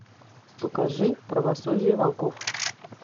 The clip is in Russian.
покажи правосудие волков